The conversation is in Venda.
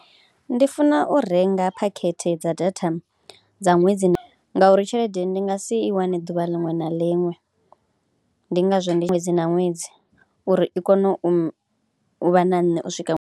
Ndi funa u renga phakhethe dza data dza ṅwedzi ngauri tshelede ndi nga si i wane ḓuvha liṅwe na liṅwe, ndi ngazwo ndi ṅwedzi na ṅwedzi uri i kone u vha na nṋe u swika.